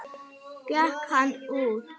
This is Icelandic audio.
Gekk hann út.